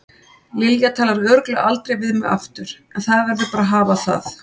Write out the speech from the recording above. Lilja talar örugglega aldrei við mig aftur en það verður bara að hafa það.